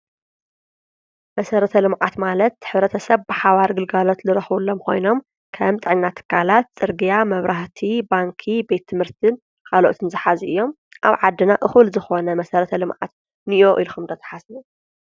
መሰረተ ልምዓት ማለት ሕብረተሰብ ብሓባር ግልጋሎት ዝረክብሎም ኮይኖም ከም ጥዕና ትካላት፣ ፅርግያ ፣መብራህቲ ፣ባንኪ፣ ቤት ትምህርትን ካልኦትን ዝሓዙ እዮም። አብ ዓድና እኩል ዝኮነ መሰረተ ልምዓት እኒኦ ኢልኩም ዶ ትሓስቡ ?